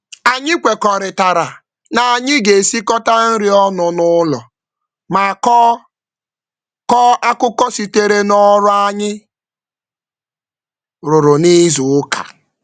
Anyị kwekọrịtara na anyị ga-esikọta nri ọnụ n'ụlọ ma kọọ kọọ akụkọ sitere n'ọrụ anyị rụrụ n'izuụka.